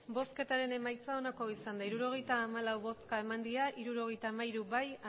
emandako botoak hirurogeita hamalau bai hirurogeita hamairu